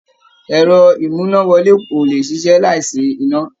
Ẹ̀rọ-ìmúnáwọlé ò lè ṣiṣẹ́ láìsí iná.